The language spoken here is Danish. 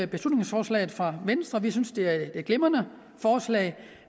beslutningsforslaget fra venstre vi synes det er et glimrende forslag